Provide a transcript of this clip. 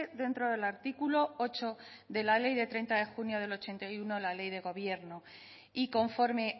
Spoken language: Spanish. dentro del articulo ocho de la ley de treinta de junio de mil novecientos ochenta y uno la ley de gobierno y conforme